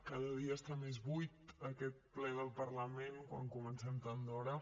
cada dia està més buit aquest ple del parlament quan comencem tan d’hora